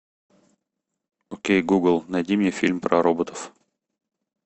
окей гугл найди мне фильм про роботов